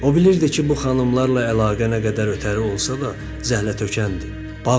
O bilirdi ki, bu xanımlarla əlaqə nə qədər ötəri olsa da, zəhlətökəndir.